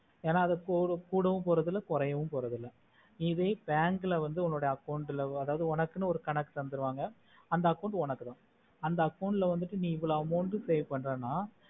என அது குடவோபோறதுல கொறையவோபோறதுல இதுவே bank ல உன்னோட account உனக்குன்னு ஒரு கணக்கு தந்துடுவாங்க அந்த account உனக்குதா அந்த account ல நீ இவொளவுன்னு amount pay பன்றேனா